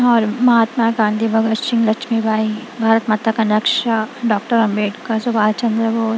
महात्मा गांधी भगत सिंह लक्ष्मी भाई भारत माता का नक्शा डॉक्टर अंबेडकर सवाल --